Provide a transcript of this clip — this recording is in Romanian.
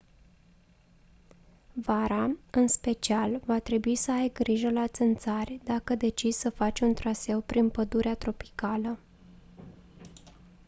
vara în special va trebui să ai grijă la țânțari dacă decizi să faci un traseu prin pădurea tropicală